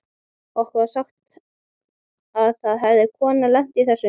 Okkur var sagt að það hefði kona lent í þessu.